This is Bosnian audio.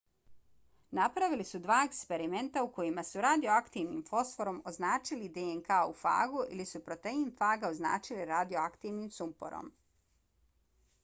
napravili su dva eksperimenta u kojima su radioaktivnim fosforom označili dnk u fagu ili su protein faga označili radioaktivnim sumporom